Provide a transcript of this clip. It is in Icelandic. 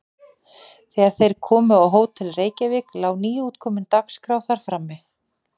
Þegar þeir komu á Hótel Reykjavík lá nýútkomin Dagskrá þar frammi.